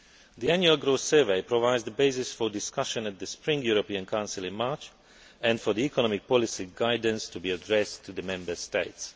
The Annual Growth Survey provides the basis for discussion at the Spring European Council in March and for the economic policy guidance to be addressed to the Member States.